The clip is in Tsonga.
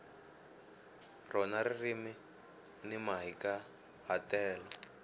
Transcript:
rona ririmi ni mahikahatelo